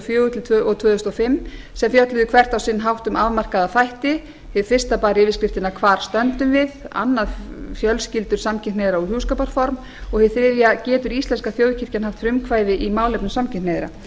og fjögur og tvö þúsund og fimm sem fjölluðu hvert á sinn hátt um afmarkaða þætti hið fyrsta bar yfirskriftina hvar stöndum við annað fjölskyldur samkynhneigðra og hjúskaparform og hið þriðja getur íslenska þjóðkirkjan haft frumkvæði í málefnum samkynhneigðra